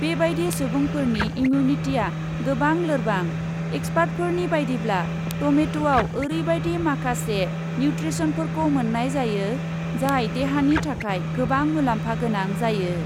बेबायदि सुबुंफोरनि इमिउनिटिआ गोबां लोरबां, एक्सपार्टफोरनि बायदिब्ला, टमेट'आव ओरैबायदि माखासे निउट्रेन्सफोरखौ मोन्नाय जायो, जाय देहानि थाखाय गोबां मुलाम्फागोनां जायो।